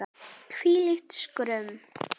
Hvílíkt skrum!